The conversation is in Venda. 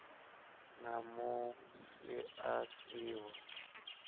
na musi a si ho